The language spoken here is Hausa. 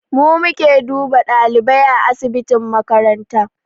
Mu muke duba ɗalibai a asibitin makaranta